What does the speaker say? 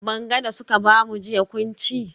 Banga da suka bamu jiya kun ci?